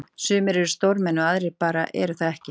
sumir eru stórmenni og aðrir bara eru það ekki.